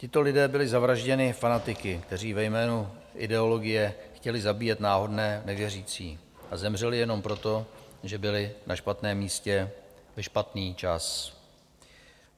Tito lidé byli zavražděni fanatiky, kteří ve jménu ideologie chtěli zabíjet náhodné nevěřící, a zemřeli jenom proto, že byli na špatném místě ve špatný čas.